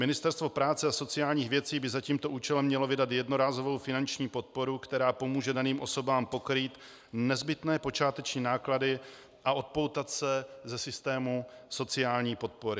Ministerstvo práce a sociálních věcí by za tímto účelem mělo vydat jednorázovou finanční podporu, která pomůže daným osobám pokrýt nezbytné počáteční náklady a odpoutat se ze systému sociální podpory.